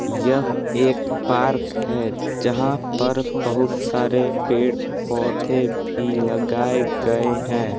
यह एक पार्क है जहां पर बहुत सारे पेड़-पौधे भी लगाए गए हैं।